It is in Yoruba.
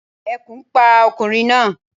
Ekùn pa okùnrin náa